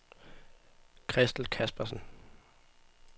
Christel Caspersen